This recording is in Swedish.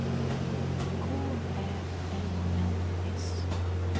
K Ä N N S